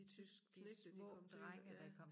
De tyske knægte de kom til at ja